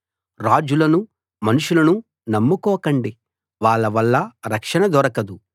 రాజులను మనుషులను నమ్ముకోకండి వాళ్ళ వల్ల రక్షణ దొరకదు